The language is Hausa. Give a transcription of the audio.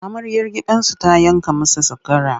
Amaryar gidansu ta yanka masa zakara.